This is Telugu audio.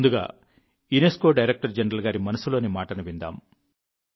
ముందుగా యునెస్కో డైరెక్టర్ జనరల్ గారి మనసులోని మాటను విందాం